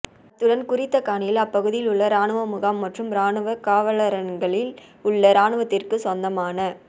அத்துடன் குறித்த காணியில் அப்பகுதியில் உள்ள இராணுவ முகாம் மற்றும் இராணுவ கவாலரண்களில் உள்ள இராணுவத்திற்குச் சொந்தமான